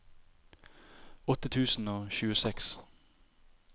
åtte tusen og tjueseks